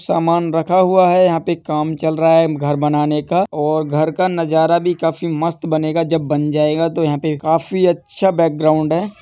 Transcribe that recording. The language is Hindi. समान रखा हुआ हैं यहाँ पे काम चल रहा हैं घर बनाने का और घर का नजारा भी काफी मस्त बनेगा जब बन जाएगा तो यहाँ पे काफी अच्छा बैकग्राउंड हैं।